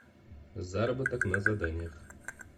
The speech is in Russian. заработок на заданиях